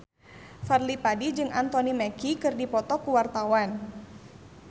Fadly Padi jeung Anthony Mackie keur dipoto ku wartawan